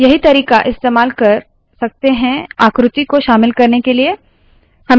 यही तरीका इस्तेमाल कर सकते है आकृति को शामिल करने के लिए